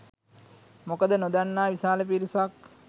මොකද නොදන්නා විශාල පිරිසක්